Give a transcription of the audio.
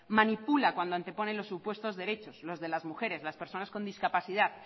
manipula cuando anteponen los supuestos derechos los de las mujeres las personas con discapacidad